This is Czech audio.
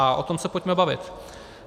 A o tom se pojďme bavit.